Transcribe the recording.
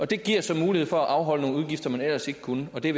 det giver så mulighed for at afholde nogle udgifter man ellers ikke kunne og det